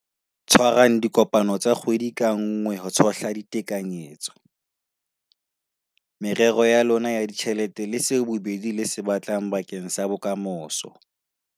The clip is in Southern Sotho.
Tshwarang dikopano tsa kgwedi ka nngwe ho tshohla ditekanyetso, merero ya lona ya ditjhelete le seo bobedi le se batlang bakeng sa bokamoso.